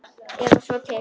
Eða svo til.